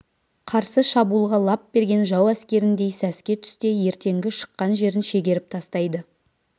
қарсы шабуылға лап берген жау әскеріндей сәске түсте ертеңгі шыққан жерін шегеріп тастайды